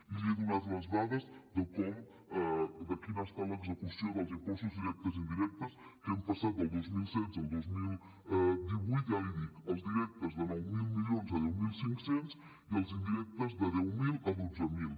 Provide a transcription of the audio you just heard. i li he donat les dades de quina ha estat l’execució dels impostos directes i indirectes que hem passat del dos mil setze al dos mil divuit ja l’hi dic els directes de nou mil milions a deu mil cinc cents i els indirectes de deu mil a dotze mil